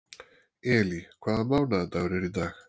Elí, hvaða mánaðardagur er í dag?